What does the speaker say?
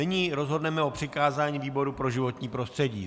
Nyní rozhodneme o přikázání výboru pro životní prostředí.